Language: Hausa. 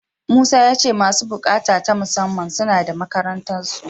Musa ya ce masu buƙata ta musamman, suna da makarantarsu.